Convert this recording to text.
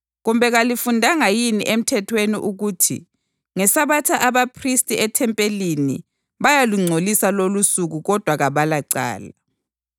Kumbe kalifundanga yini eMthethweni ukuthi ngeSabatha abaphristi ethempelini bayalungcolisa lolusuku kodwa kabalacala.